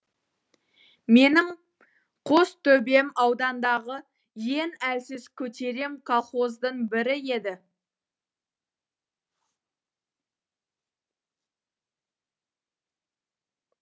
менің қостөбем аудандағы ең әлсіз көтерем колхоздың бірі еді